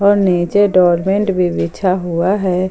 और नीचे डोरमेंट भी बिछा हुआ है।